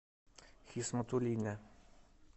хисматуллине